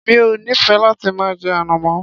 Mi ò nífẹẹ láti máa jẹ ànàmọ́.